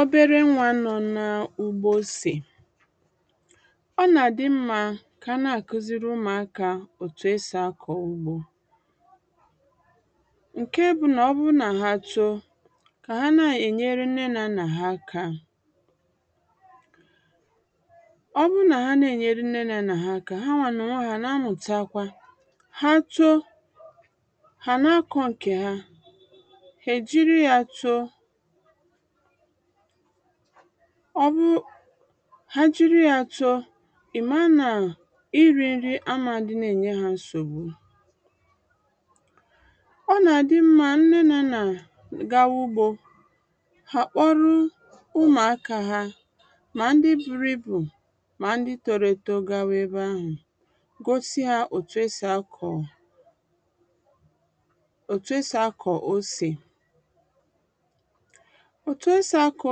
obere nwā nọ na-ugbo osè ọnà àdị mmā kà ana àkụziri ụmụ̀ akā òtù esì akọ̀ ugbō ǹke bụnà ọburu nà ha too kà ha na-ènyere nne nà nnà ha aka ọburu nà ha nà-ènyere nne nà nnà ha aka, hanà ònwe ha àna amùtakwa ha too hà àna akọ̀ ǹkè ha hà èjiri ya too ha jịrị ya too ìmara nà ịrī nri amā àdịna ènye ha nsògbụ ọnà àdị mmā nne nà nnà gawa ụgbō hà àkpụrụ ụmụ̀ akā ha mà ndị buru ịbù mà ndị toro eto gawa ebe ahù gosị hā ètù esì akọ̀ osè ètù esì akọ̀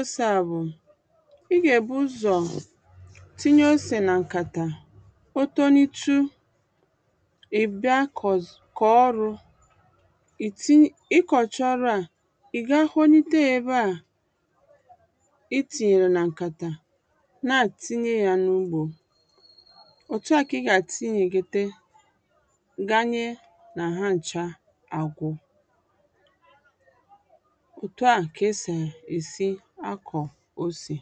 osè à bù ịgà èbụ ụzọ̀ tịnye osè nà ǹkàtà kpoto nitụ ìbịa kọ̀ọ ọrụ̄ ịkọ̀cha ọrụ à ìga honịte yā ebeà ịtinyere na ǹkàtà na àtịnye ya n’ụgbō òtụà kà ịgà àtịnyèkètē ǹdanye nà ha ncha àgwụ òtù ahù kà esì èsị akọ̀ osè